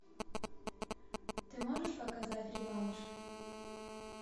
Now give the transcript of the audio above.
ты можешь показать реванш